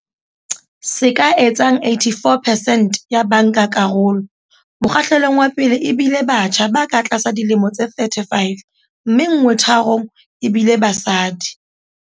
Se ka etsang 84 percent ya bankakarolo mokgahlelong wa pele e bile batjha ba ka tlasa dilemo tse 35, mme nngwe tharong ebile basadi.